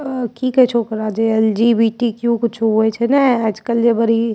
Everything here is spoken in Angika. अ की कही छो ओकरा जे एल.जी.बी.टी.क्यु. कुछ होए छे ना आजकल जे बरी --